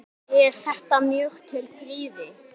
Er þetta mjög til prýði.